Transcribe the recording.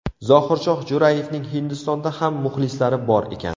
Zohirshoh Jo‘rayevning Hindistonda ham muxlislari bor ekan.